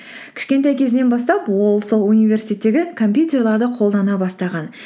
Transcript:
кішкентай кезінен бастап ол сол университеттегі компьютерлерді қолдана бастаған